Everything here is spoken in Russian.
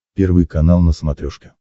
первый канал на смотрешке